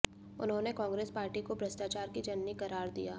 उन्होंने कांग्रेस पार्टी को भ्रष्टाचार की जननी करार दिया